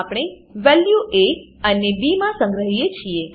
આપણે value A અને B માં સંગ્રહીએ છીએ